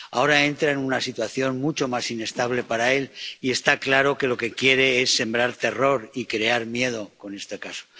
Ahora entra en una situación mucho más inestable para él y está claro que lo que quiere es sembrar terror y crear miedo con este caso.